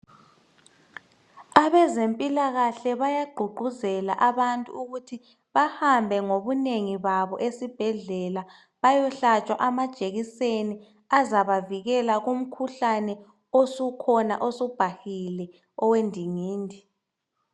Abezempilakahle bayagqugquzela abantu ukuthi bahambe ngobunengi babo esibhedlela beyehlatshwa amajekiseni azaba avikela emkhuhlaneni osukhona osubhahile owendingindi.